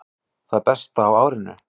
Það besta á árinu